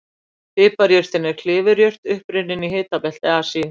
Piparjurtin er klifurjurt upprunnin í hitabelti Asíu.